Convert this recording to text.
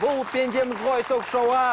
бұл пендеміз ғой ток шоуы